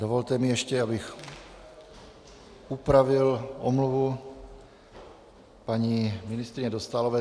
Dovolte mi ještě, abych upravil omluvu paní ministryně Dostálové.